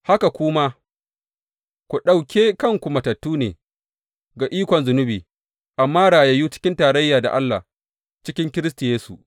Haka ku ma, ku ɗauke kanku matattu ne ga ikon zunubi amma rayayyu cikin tarayya da Allah cikin Kiristi Yesu.